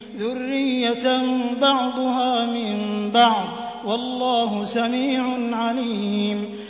ذُرِّيَّةً بَعْضُهَا مِن بَعْضٍ ۗ وَاللَّهُ سَمِيعٌ عَلِيمٌ